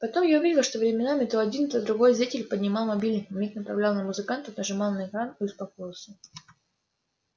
потом я увидел что временами то один то другой зритель поднимал мобильник на миг направлял на музыкантов нажимал на экран и успокоился